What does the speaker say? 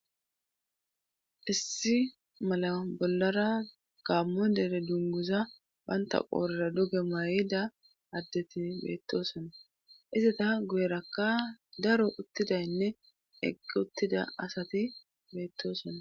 Issi mala bollara gammo dere dunguza banta poorera duge may7ida addeti beettosonna izata guyerakka daro uttidaynne egge uttida asati beettosona.